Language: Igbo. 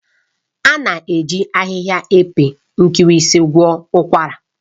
A na-eji ahịhịa epe nkirisi gwọọ ụkwara